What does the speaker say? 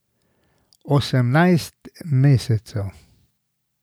Osemnajst mesecev.